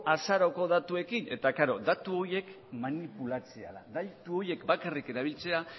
azaroko datuekin eta klaro datu horiek manipulatzea da datu horiek bakarrik erabiltzea